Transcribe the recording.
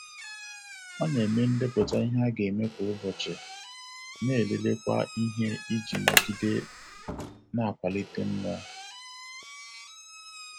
Ọ na-eme ndepụta ihe a ga-eme kwa ụbọchị, na-elelekwa ihe iji nogide na-akwalite mmụọ.